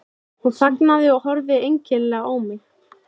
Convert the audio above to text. Hún þagnaði og horfði einkennilega á mig.